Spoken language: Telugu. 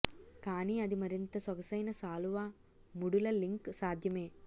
కానీ అది మరింత సొగసైన శాలువా ముడుల లింక్ సాధ్యమే